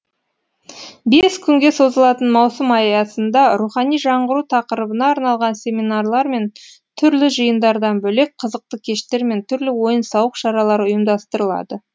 бес күнге созылатын маусым аясында рухани жаңғыру тақырыбына арналған семинарлар мен түрлі жиындардан бөлек қызықты кештер мен түрлі ойын сауық шаралары ұйымдастырылады